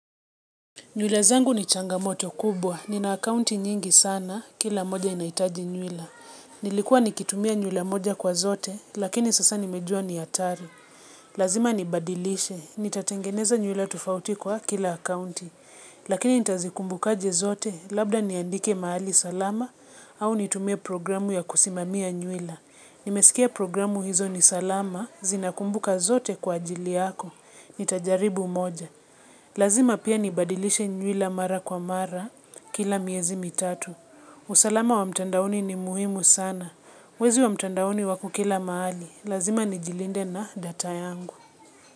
Nywila zangu ni changamoto kubwa, nina akaunti nyingi sana, kila moja inahitaji nywila. Nilikuwa nikitumia nywila moja kwa zote, lakini sasa nimejua ni hatari. Lazima nibadilishe, nitatengeneza nywila tofauti kwa kila akaunti. Lakini nitazikumbuka aje zote, labda niandike mahali salama, au nitumie programu ya kusimamia nywila. Nimesikia programu hizo ni salama, zinakumbuka zote kwa ajili yako, nitajaribu moja. Lazima pia nibadilishe nywila mara kwa mara kila miezi mitatu. Usalama wa mtandaoni ni muhimu sana. Wezi wa mtandaoni wako kila mahali. Lazima nijilinde na data yangu.